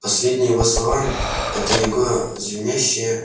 последние его слова это его звенящее